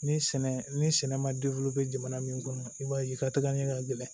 Ni sɛnɛ ni sɛnɛ ma jamana min kɔnɔ i b'a ye i ka taga ɲɛ ka gɛlɛn